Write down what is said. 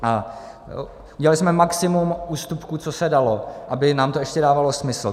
A udělali jsme maximum ústupků, co se dalo, aby nám to ještě dávalo smysl.